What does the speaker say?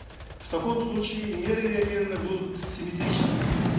в таком случае меры реагирования будут симметричными